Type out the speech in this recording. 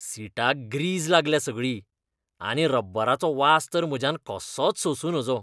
सीटाक grease लागल्या सगळी, आनी रब्बराचो वास तर म्हज्यान कसोच सोंसूं नजो.